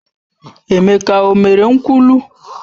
Emeka o mere nkwulu?